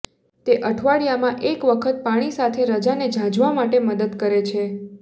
તે અઠવાડિયામાં એક વખત પાણી સાથે રજાને ઝાંઝવા માટે મદદ કરે છે